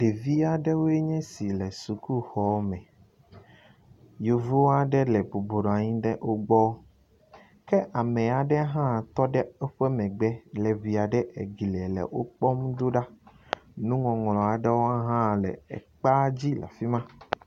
Ɖevi aɖewoe nye si le sukuxɔme. Yevu aɖe bɔbɔnɔ anyi ɖe wo gbɔ ke ame aɖe hã tɔ ɖe woƒe megbe le ŋi aɖe eglia le wo kpɔm ɖoɖa. Nuŋɔŋlɔ aɖewo hã le ekpea dzi le afi ma.